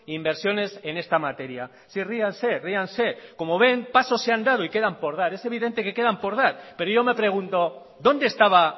inversiones en esta materia sí ríanse ríanse como ven pasos se ha dado y quedan por dar es evidente que quedan por dar pero yo me pregunto dónde estaba